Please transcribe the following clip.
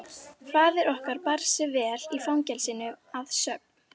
Faðir okkar bar sig vel í fangelsinu að sögn.